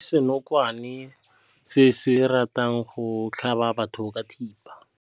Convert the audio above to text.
Re bone senokwane se se ratang go tlhaba batho ka thipa.